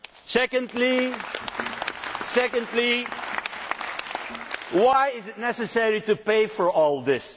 Secondly, why is it necessary to pay for all this?